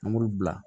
An b'olu bila